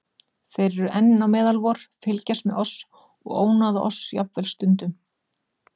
Þeir eru enn á meðal vor, fylgjast með oss og ónáða oss jafnvel stundum.